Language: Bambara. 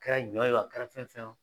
Kɛra ɲɔ ye o a kɛra fɛn fɛn ye o.